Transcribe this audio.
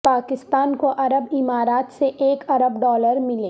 پاکستان کو عرب عمارات سے ایک ارب ڈالر ملے